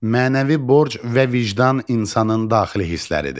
Mənəvi borc və vicdan insanın daxili hissləridir.